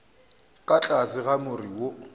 ka tlase ga more wo